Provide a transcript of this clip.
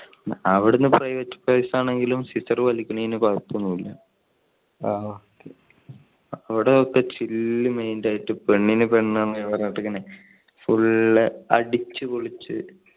അവിടെ private place ആണെങ്കിലും സീസർ വലിക്കുന്നതിന് കുഴപ്പം ഒന്നും ഇല്ല, അവിടെ ഒക്കെ chill mind ആയിട്ട് പെണ്ണിന് പെണ്ണ് അങ്ങനെ full അടിച്ചുപൊളിച്ച്.